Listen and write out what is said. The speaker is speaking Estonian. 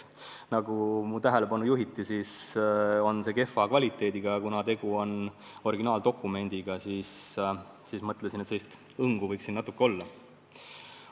Nagu mulle väideti, see on kehva kvaliteediga, aga kuna tegu on originaaldokumendiga, siis mõtlesin, et sellist hõngu võiks siin natuke olla.